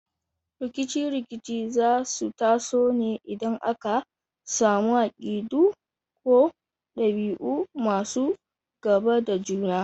Rikice-rikice za su taso ne idan aka samu akidu ko dabi’u masu gaba da juna.